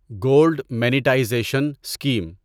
gold monetisation scheme